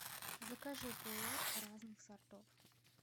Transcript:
закажи пуэр разных сортов